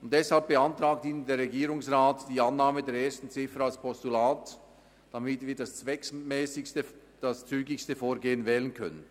Deshalb beantragt Ihnen der Regierungsrat die Annahme der ersten Ziffer als Postulat, damit wir das zweckmässigste und zügigste Vorgehen wählen können.